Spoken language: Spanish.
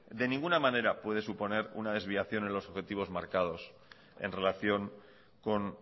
de ninguna manera puede suponer una desviación en los objetivos marcados en relación con